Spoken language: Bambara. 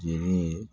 Jeli ye